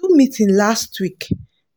dem do meeting last week